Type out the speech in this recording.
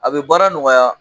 A bɛ baara nɔgɔya